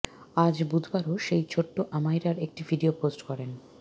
আজ বুধবারও সেই ছোট্ট আমাইরার একটি ভিডিও পোস্ট করেন